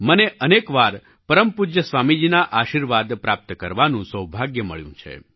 મને અનેક વાર પરમ પૂજ્ય સ્વામીજીના આશીર્વાદ પ્રાપ્ત કરવાનું સૌભાગ્ય મળ્યું છે